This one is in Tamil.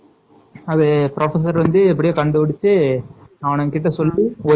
அது வந்து professor எப்படியோ கண்டுபிடிச்சு ஆனந்த் கிட்ட சொல்லி ஒரு